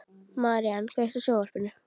Marían, kveiktu á sjónvarpinu.